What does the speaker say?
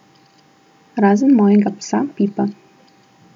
Razen mojega psa Pipa.